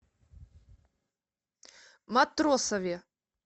матросове